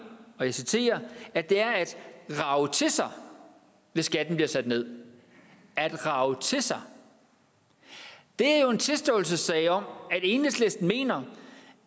og jeg citerer at det er at rage til sig hvis skatten bliver sat ned at rage til sig det er jo en tilståelsessag om at enhedslisten mener